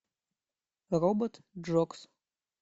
робот джокс